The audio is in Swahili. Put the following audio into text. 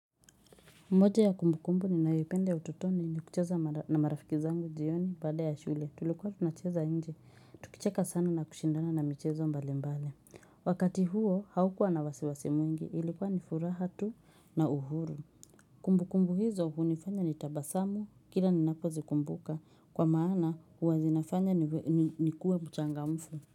Moja ya kumbu kumbu ninayoipenda ya utotoni ni kucheza na marafiki zangu jioni baada ya shule tulikuwa tunacheza nje tukicheka sana na kushindana na michezo mbali mbali Wakati huo haukuwa na wasiwasi mwingi ilikuwa ni furaha tu na uhuru Kumbukumbu hizo hunifanya nitabasamu kila ninapozikumbuka kwa maana huwa zinafanya nikuwe mchangamfu.